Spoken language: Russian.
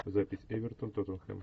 запись эвертон тотенхем